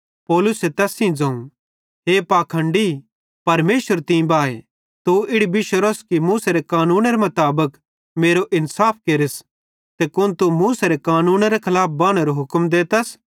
पौलुसे तैस सेइं ज़ोवं हे पाखंडी परमेशर तीं बाए तू इड़ी बिशोरोस कि मूसेरे कानूनेरे मुताबिक मेरो इन्साफ केरस ते कुन तू मूसेरे कानूनेरे खलाफ बानेरो हुक्म देतस